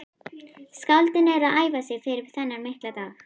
Skáldin eru að æfa sig fyrir þennan mikla dag.